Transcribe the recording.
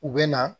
U bɛ na